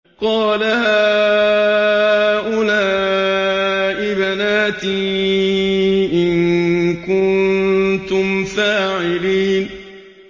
قَالَ هَٰؤُلَاءِ بَنَاتِي إِن كُنتُمْ فَاعِلِينَ